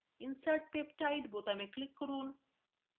insert peptide বোতামে click করুন